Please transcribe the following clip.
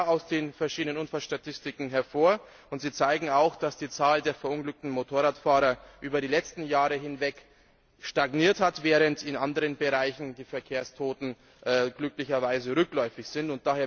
Das geht klar aus den verschiedenen Unfallstatistiken hervor, und sie zeigen auch, dass die Zahl der verunglückten Motorradfahrer über die letzten Jahre hinweg stagniert hat, während in anderen Bereichen die Verkehrstoten glücklicherweise rückläufig sind.